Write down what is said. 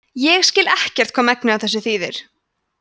ég skil ekkert hvað megnið af þessu þýðir